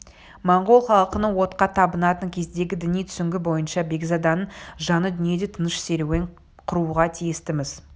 монғол халқының отқа табынатын кездегі діни түсінігі бойынша бекзаданың жаны дүниеде тыныш серуен құруға тиісті-міс